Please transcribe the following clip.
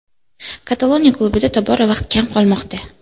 Kataloniya klubida tobora vaqt kam qolmoqda.